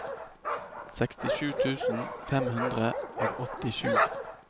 sekstisju tusen fem hundre og åttisju